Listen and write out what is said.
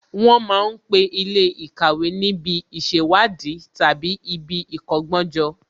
Wọ́n ma ń pe Ilé ìkàwé níbi ìṣèwádìí tàbí ibi ìkọ́gbọ́n jọ